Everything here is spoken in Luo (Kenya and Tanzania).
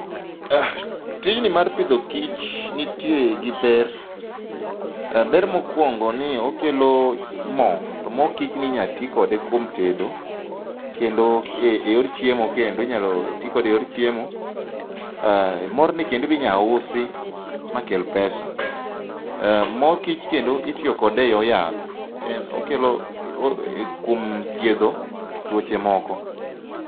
Tijni mar pidho kich nitie gi ber, ber mokuongo ni okelo moo to mor kichni inya tii kode kuom tedo kendo e yor chiemo kendo, inya tii kode e yor chiemo. Morni kendo inya usi makel pesa, mor kich kendo itiyo kode e yor yath en okelo, kuom thiedho tuoche moko